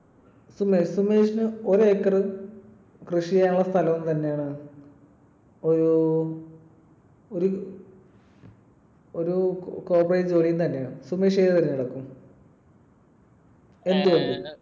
സുമേഷ്, സുമേഷിന് ഒരു acre കൃഷി ചെയ്യാനുള്ള സ്ഥലവും തരാണ്‌ ഒരു ~ ഒരു ഒരു corporate ജോലിയും തരാണ്. സുമേഷ് ഏത് തിരഞ്ഞെടുക്കും. എന്ത് കൊണ്ട്?